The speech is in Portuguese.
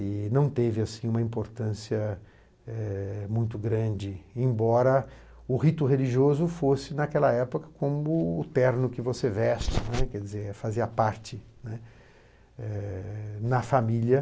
E não teve, assim, uma importância eh muito grande, embora o rito religioso fosse, naquela época, como o terno que você veste, né, quer dizer, fazia parte, né, na família.